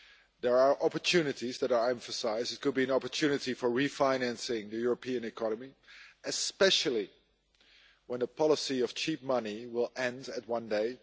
There are opportunities that are emphasised it could be an opportunity for refinancing the European economy, especially when the policy of cheap money will end one day.